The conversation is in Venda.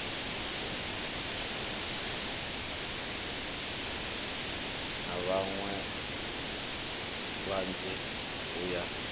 na vhaṋwe vhanzhi u ya